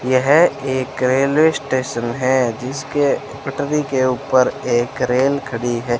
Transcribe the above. यह एक railway station है जिसके पटरी के ऊपर एक रेल खड़ी है।